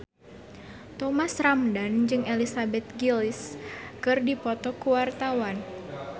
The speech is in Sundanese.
Thomas Ramdhan jeung Elizabeth Gillies keur dipoto ku wartawan